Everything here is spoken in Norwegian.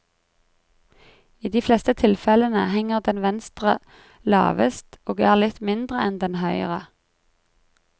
I de fleste tilfellene henger den venstre lavest, og er litt mindre enn den høyre.